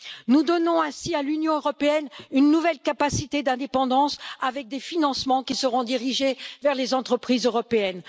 Nous donnons ainsi à l'Union européenne une nouvelle capacité d'indépendance avec des financements qui seront dirigés vers les entreprises européennes.